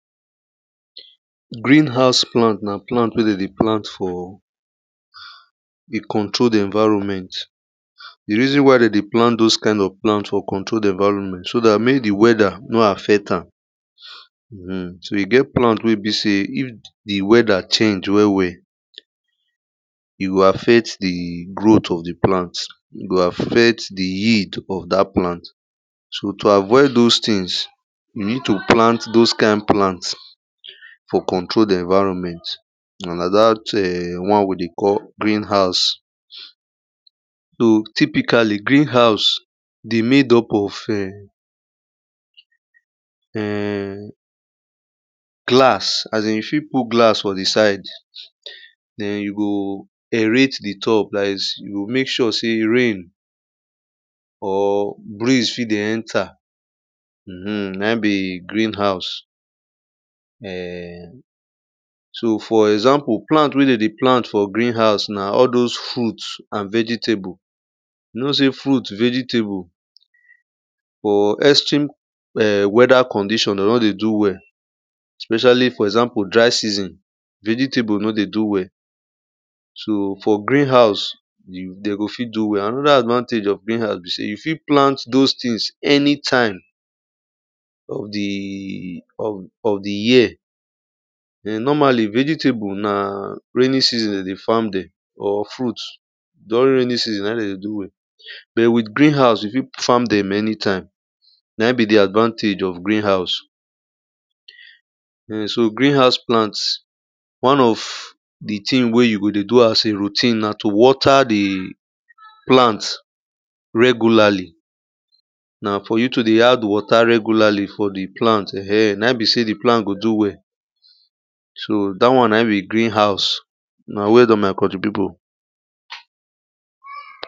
Green house plant na plant wey dem dey plant for a controlled environment The reason why dem dey plant those kind of plant for controlled environment so that make the weather no affect am. um so e get plant wey e be sey if the weather change well well, e go affect the growth of the plant, e go affect the yield of that plant. So to avoid those things, you need to plant those kind plant, for controlled environment. And na that um one we dey call green house. So typically greenhouse dey made up of um glass as in you fit put glass for the side, then you go aerate the top that is you go make sure sey rain, or breeze fit dey enter, um na im be green house. um so for example plant wey dem dey plant for green house na all those fruit and vegetable. You know say fruit vegetable, for extreme um weather condition dem nor dey do well. Especially for example dry season, vegetable nor dey do well. So for green house, dem go fit do well. Another advantage of greenhouse be sey you fit plant those things anytime of the of of the year. um normally vegetable na raining season dem dey farm dem or fruits, during raining season n aim dem dey do well. but with green house you fit farm dem anytime. Na im be the advantage of greenhouse. um so greenhouse plants one of the thing wey you go dey do as a routine na to water the plants regularly Na for you to dey add water regularly, for the plant um na im be say the plant go do well. So that one na im be green house. Una well done one my country people.